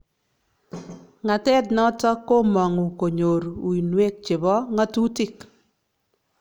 Ng'atet noton kimangu konyoor wuinweek chebo ngatutik